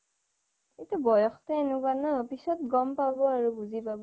এইটো বয়সটো এনেকুৱা ন' পিছত গ'ম পাব আৰু বুজি পাব